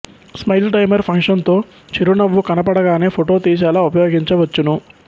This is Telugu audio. స్మైల్ టైమర్ ఫంక్షన్ తో చిరునవ్వు కనబడగానే ఫోటో తీసేలా ఉపయోగించవచ్చును